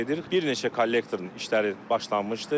Bir neçə kollektorun işləri başlanmışdı.